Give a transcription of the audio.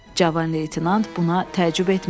Cavan leytenant buna təəccüb etmədi.